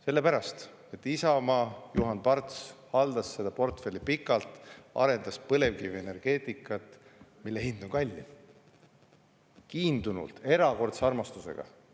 Selle pärast, et Juhan Parts Isamaast haldas seda portfelli pikalt, arendas põlevkivienergeetikat, mille hind on kallim, kiindunult ja erakordse armastusega.